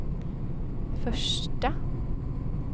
första